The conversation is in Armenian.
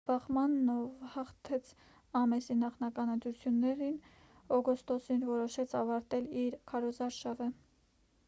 բախմաննը ով հաղթեց ամեսի նախնական ընտրություններն օգոստոսին որոշեց ավարտել իր քարոզարշավը